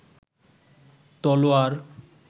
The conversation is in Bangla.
তলোয়ার